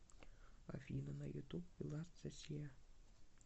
афина на ютуб ви лост зе си